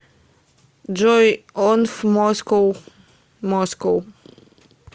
джой онф москоу москоу